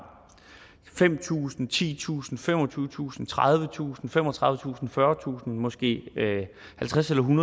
fem tusind titusind femogtyvetusind tredivetusind femogtredivetusind fyrretusind måske halvtredstusind